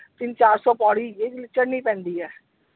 ਤਿੰਨ ਚਾਰਸੋ ਪੌੜੀ ਜਿਹੜੀ ਚੜਣੀ ਪੈਂਦੀ ਹੈ।